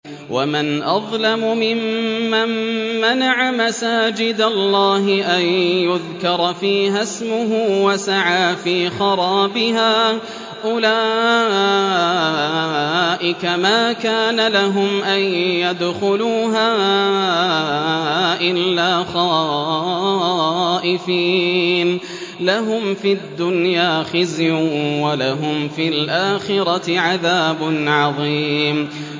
وَمَنْ أَظْلَمُ مِمَّن مَّنَعَ مَسَاجِدَ اللَّهِ أَن يُذْكَرَ فِيهَا اسْمُهُ وَسَعَىٰ فِي خَرَابِهَا ۚ أُولَٰئِكَ مَا كَانَ لَهُمْ أَن يَدْخُلُوهَا إِلَّا خَائِفِينَ ۚ لَهُمْ فِي الدُّنْيَا خِزْيٌ وَلَهُمْ فِي الْآخِرَةِ عَذَابٌ عَظِيمٌ